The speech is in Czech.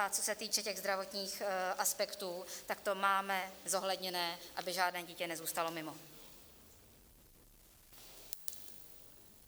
A co se týče těch zdravotních aspektů, tak to máme zohledněné, aby žádné dítě nezůstalo mimo.